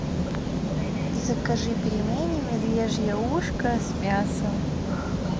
закажи пельмени медвежье ушко с мясом